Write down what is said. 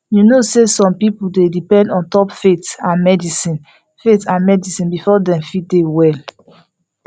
you know say some people dey depend ontop faith and medicine faith and medicine before dem fit dey well